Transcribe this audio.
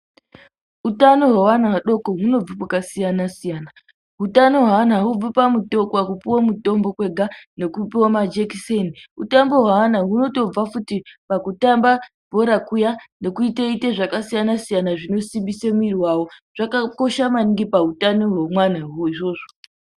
Utano hweana adoko hunobve kwakasiyana siyana. Utano hweana haubvi pakupuwe mutombo kwega, nekupiwe majekiseni. Utano hweana hunotobva futi pakutamba bhora nekuite ite zvakasiyana siyana zvinosimbise mwiri wawo. Zvakakosha maningi pautano hwemwana izvozvo.